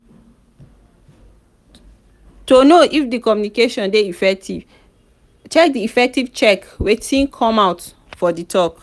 to know if di communication de effective check de effective check wetin come out for di talk